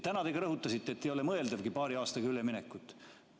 Täna te rõhutasite, et paari aastaga üleminek ei ole mõeldavgi.